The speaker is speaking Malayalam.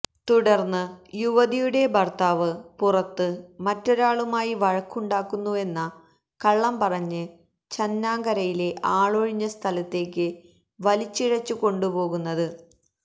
തുടർന്ന് യുവതിയുടെ ഭർത്താവ് പുറത്ത് മറ്റൊരാളുമായി വഴക്ക് ഉണ്ടാക്കുന്നുവെന്ന കള്ളം പറഞ്ഞ് ചാന്നാങ്കരയിലെ ആളൊഴിഞ്ഞ സ്ഥലത്തേക്ക് വലിച്ചിഴച്ചുകൊണ്ടുപോകുന്നത്